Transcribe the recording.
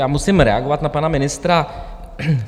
Já musím reagovat na pana ministra.